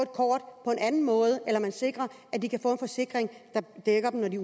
kort på en anden måde eller man sikrer at de kan få en forsikring der dækker dem når de